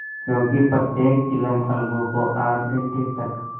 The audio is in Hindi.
क्योंकि प्रत्येक चिलम अलगू को आध घंटे तक